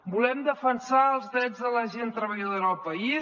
volem defensar els drets de la gent treballadora del país